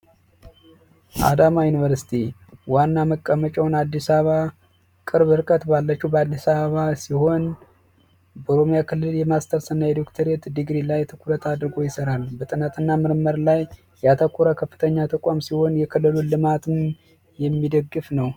አዳማ ዩንቨርስቲ ዋና መቀመጫውን አዲስ አበባ ቅርብ ርቀት ባለች በአዲስ አበባ ሲሆን ክልል የማስተርስና የዶክተር ዲግሪ ላይ ትኩረት አድርጎ ይሰራል በጥናትና ምርምር ላይ ያተኮረ ከፍተኛ ተቋም ሲሆን የክልሉ ልማት የሚደግፍ ነው